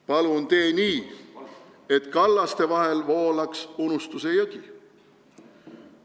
Palun tee nii, et kallaste vahel voolaks unustuse jõgi!